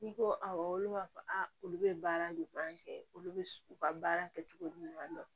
N'i ko awɔ olu b'a fɔ olu bɛ baara de fɔ an fɛ olu bɛ u ka baara kɛcogo ɲuman dɔn